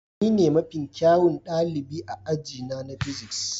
Ni ne mafi kyawun ɗalibi a aji na physics.